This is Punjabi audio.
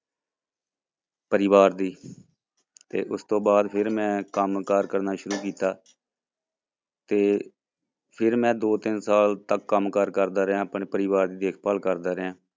ਪਰਿਵਾਰ ਦੀ ਤੇ ਉਸ ਤੋਂ ਬਾਅਦ ਫਿਰ ਮੈਂ ਕੰਮ ਕਾਰ ਕਰਨਾ ਸ਼ੁਰੁ ਕੀਤਾ ਤੇ ਫਿਰ ਮੈਂ ਦੋ ਤਿੰਨ ਸਾਲ ਤੱਕ ਕੰਮ ਕਾਰ ਕਰਦਾ ਰਿਹਾਂ, ਆਪਣੇ ਪਰਿਵਾਰ ਦੀ ਦੇਖਭਾਲ ਕਰਦਾ ਰਿਹਾਂ।